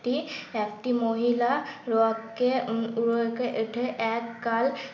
হেঁটে একটি মহিলা এক গাল